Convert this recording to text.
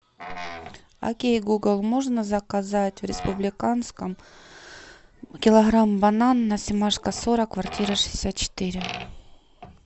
окей гугл можно заказать в республиканском килограмм банан на семашко сорок квартира шестьдесят четыре